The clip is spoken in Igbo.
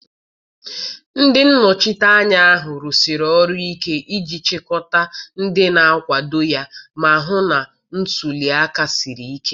Ndị nnọchiteanya ahụ rụsiri ọrụ ike iji chịkọta ndị na-akwado ya ma hụ na ntuli aka siri ike